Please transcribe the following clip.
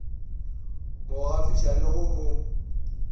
mo gafiša le go mo